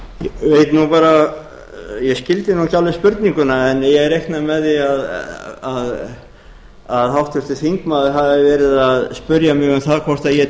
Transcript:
ég skildi nú ekki alveg spurninguna en ég reikna með því að háttvirtur þingmaður hafi verið að spyrja mig um það hvort ég